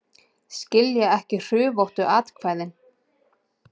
Skilja ekki hrufóttu atkvæðin